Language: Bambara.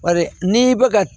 Bari n'i bɛ ka